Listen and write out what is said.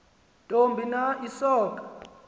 ntoni na isonka